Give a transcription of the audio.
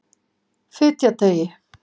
Fitjateigi